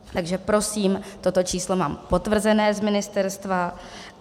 Takže prosím, toto číslo mám potvrzené z ministerstva.